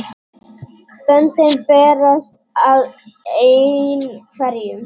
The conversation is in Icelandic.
Böndin berast að einhverjum